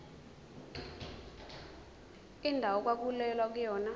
indawo okwakulwelwa kuyona